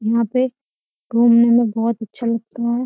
यहाँ पे घूमने में बहोत अच्छा लगता है।